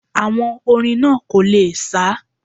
Àwọn orin náà kò le sá